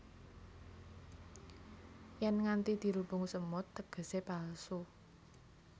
Yèn nganti dirubung semut tegesé palsu